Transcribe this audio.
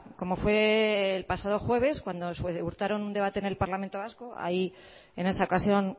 como fue el pasado jueves cuando un debate en el parlamento vasco ahí en esa ocasión